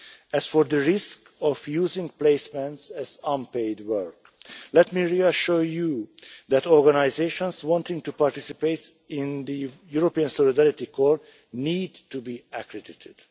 As for the risk of using placements as unpaid work, let me reassure you that organisations wanting to participate in the European Solidarity Corps need to be accredited.